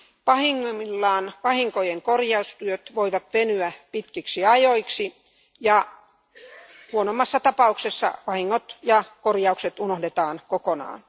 Pahimmillaan vahinkojen korjaustyöt voivat venyä pitkiksi ajoiksi ja huonoimmassa tapauksessa vahingot ja korjaukset unohdetaan kokonaan.